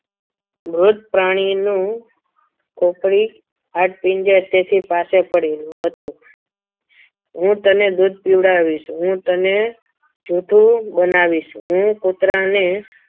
મૃત પ્રાણીઓ નું ખોપડી હાડપિંજર તેની પાસે પડેલું હતું. હું તને દૂધ પીવડાવીશ હું તને જૂઠું બનાવીશ હું કૂતરાને